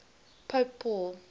pope paul